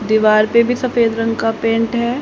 दीवार पे भी सफेद रंग का पेंट है।